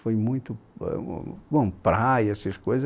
Foi muito... Ãh Bom, praia, essas coisas.